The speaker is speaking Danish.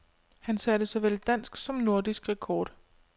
Han satte såvel dansk som nordisk rekord.